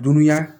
Dunuya